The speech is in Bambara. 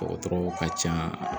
Dɔgɔtɔrɔw ka ca